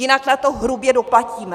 Jinak na to hrubě doplatíme!